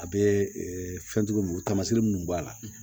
A bɛ fɛnjugu minnu tamasiyɛn minnu b'a la